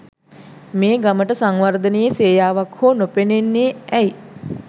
මේ ගමට සංවර්ධනයේ සේයාවක් හෝ නොපෙනෙන්නේ ඇයි?